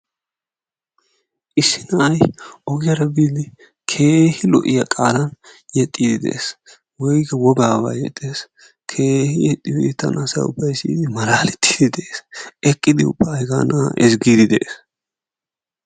Issi na'ay pogiyara boidi kehi lo'iya qaalan yexiidi de's; woykko wogaaba yexees keehin yexin asay ubbay malaaletiidi de'ees. eqqidi ubba hegaa naa'a ezgiidi de'ees.